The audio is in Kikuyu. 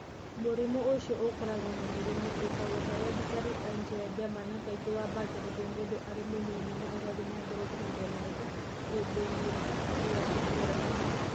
Mũrimũ ũcio ũkoragwo na mĩrimũ ĩtagwo hereditary angioedema na kaingĩ wambĩrĩria mũndũ arĩ mũnini na ũgathiĩ na mbere kuongerereka ihinda-inĩ rĩa gũkũra.